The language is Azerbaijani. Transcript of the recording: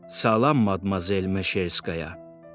Salam Madmazel Meşerskaya.